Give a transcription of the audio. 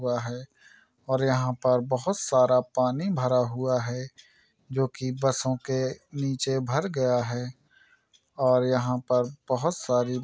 हुआ है और यहां पर बहुत सारा पानी भरा हुआ है जो कि बसों के नीचे भर गया है और यहां पर बहुत सारी--